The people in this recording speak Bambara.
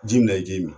Ji min na i k'i mi